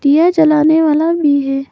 यह जलाने वाला भी है।